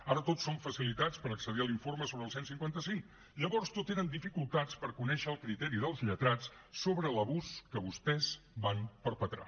ara tot són facilitats per accedir a l’informe sobre el cent i cinquanta cinc llavors tot eren dificultats per conèixer el criteri dels lletrats sobre l’abús que vostès van perpetrar